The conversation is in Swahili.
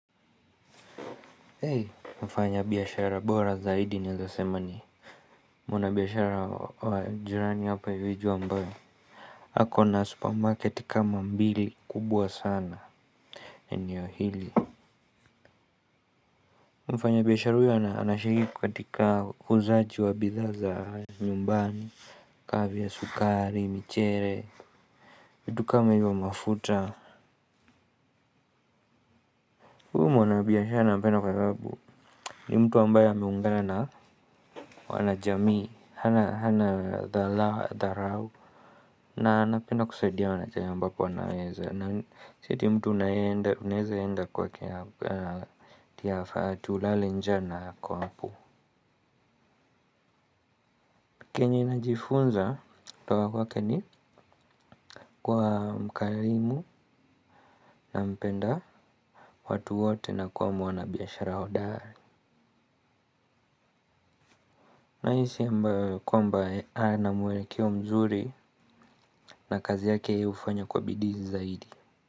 Eei, mfanya biashara bora zaidi naweza sema ni mwana biashara wa jirani hapa hivi juu ambaye ako na supermarket kama mbili kubwa sana eneo hili. Mfanya biashara huyo anashiriki kukatika uuzaji wa bidhaa za nyumbani. Ka vile sukari, michele, vitu kama hivyo mafuta huyu mwanabiashara nampenda kwababu ni mtu ambaye ameungana na wana jamii. Hana dhala dharau. Na anapenda kusaidia wana jamii ambapo anaeza na si ati mtu unaeza enda kwake atia ulale njaa na ako hapo. Kenye najifunza kutoka kwake ni kuwa mkarimu na mpenda watu wote na kwa mwana biashara hodari. Na hisi ambayo kwamba ana mwelekeo mzuri na kazi yake yeye hufanya kwa bidii zaidi.